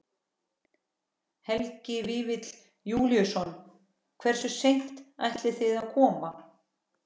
Helgi Vífill Júlíusson: Hversu seint ætlið þið að koma?